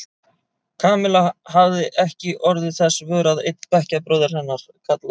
Kamilla hafði ekki orðið þess vör að einn bekkjarbróðir hennar, kallaður